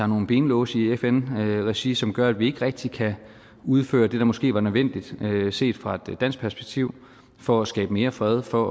nogle benlåse i fn regi som gør at vi ikke rigtig kan udføre det der måske var nødvendigt set fra et dansk perspektiv for at skabe mere fred for